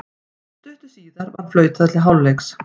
Stuttu síðar var flautað til hálfleiks.